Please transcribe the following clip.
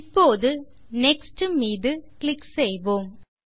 இப்போது நெக்ஸ்ட் மீது கிளிக் செய்வோம்